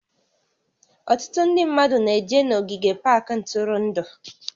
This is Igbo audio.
Ọtụtụ ndị mmadụ na-eje n'ogige pak ntụrụndụ